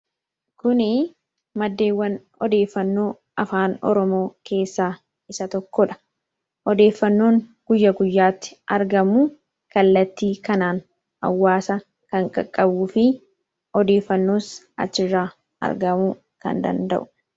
Kuni maddeewwan odeeffannoo afaan Oromoo keessaa isa tokkodha. Odeeffannoon guyya guyyaatti argamu kallattii kanaan hawwaasa kan qaqqabuu fi odeeffannoos achirraa argamuu kan danda'u.